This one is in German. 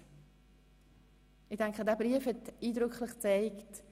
Liebe Elisabeth, ich denke, dieser Brief hat es eindrücklich gezeigt: